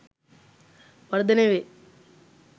වර්ධනය වේ.